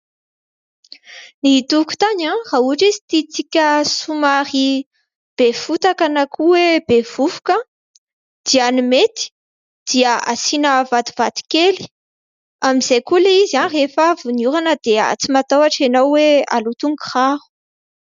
Ny tokontany raha ohatra izy tiantsika somary be fotaka na koa hoe be vovoka dia ny mety dia asiana vatovato kely, amin'izay koa ilay izy rehefa avy ny orana dia tsy matahotra ianao hoe haloto ny kiraro.